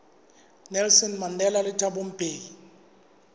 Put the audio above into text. nelson mandela le thabo mbeki